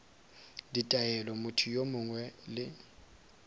ditaelo motho yo mongwe le